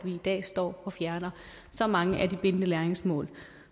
i dag står og fjerner så mange af de bindende læringsmål